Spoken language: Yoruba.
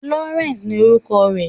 Florence ni orúkọ rẹ̀.